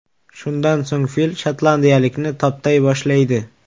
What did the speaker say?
Shundan so‘ng fil shotlandiyalikni toptay boshlaydi.